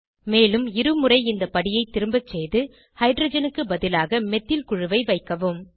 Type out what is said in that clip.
மேலும் இருமுறை இந்த படியை திரும்பசெய்து ஹைட்ரஜனுக்கு பதிலாக மெத்தில் குழுவை வைக்கவும்